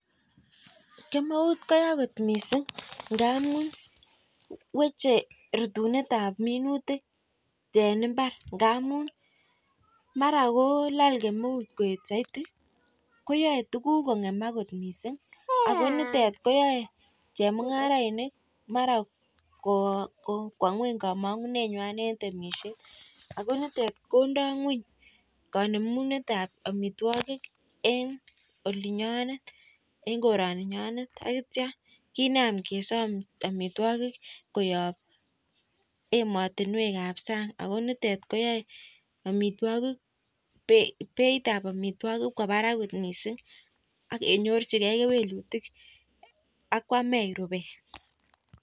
Kemeut koyaa kot mising ngamun weche rutunet ab minutik en imbar ngamun mara kolal kemeut koyet saiti koyae tuguk kongemak kot mising akonitet koyae chemungarainik mara Kwa ngweny kamangunenywan en temishet akonitet kondai ngweny kanemunet ab amitwagik en olinyonet ak koraninyonet akitya kenam kesom amitwagik koyab ematunwek ab sang konitet koyae amitwagik Beit ab amitwagik Kwa Barak kot mising akinyorchigei kewelutik akwamech rubet